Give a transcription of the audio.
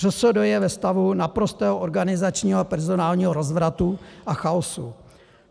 ŘSD je ve stavu naprostého organizačního a personálního rozvratu a chaosu.